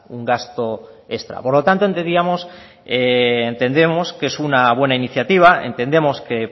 un gasto extra por lo tanto entendíamos que es una buena iniciativa entendemos que